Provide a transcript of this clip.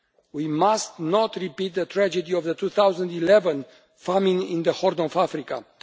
We must not repeat the tragedy of the 2011 famine in the Horn of Africa.